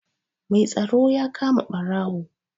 Mai tsaro ya kama ɓarawo.